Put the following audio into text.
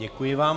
Děkuji vám.